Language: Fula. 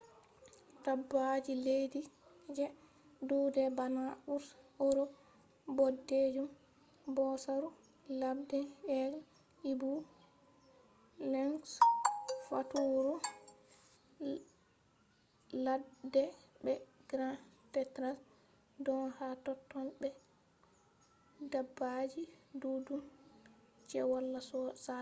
dabbaji leddi je dudai bana bear europe bodejum bosaru ladde eagle owl lynx faturu ladde be capercaillie don ha totton be dabbaji duddum je wala sada